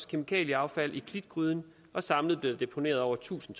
kemikalieaffald i klitgryden og samlet blev der deponeret over tusind